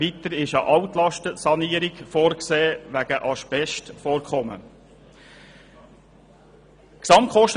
Weiter ist eine Altlastensanierung wegen Asbestvorkommen vorgesehen.